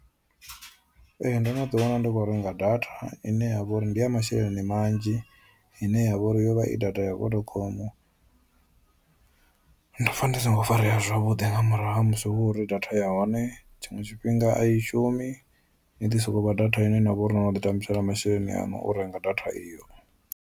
Ee ndo no ḓi wana ndi kho renga data ine yavha uri ndi ya masheleni manzhi ine yavha uri yo vha i data ya Vodacom. Ndo pfha ndi songo farea zwavhuḓi nga murahu ha musi hu uri data ya hone tshiṅwe tshifhinga ayi shumi i ḓi sokou vha data ine yavha uri ni vha no tambisela masheleni aṋu u renga data iyo.